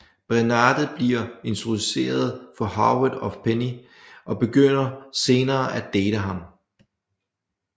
Bernadette bliver introduceret for Howard af Penny og begynder senere at date ham